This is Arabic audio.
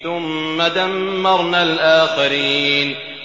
ثُمَّ دَمَّرْنَا الْآخَرِينَ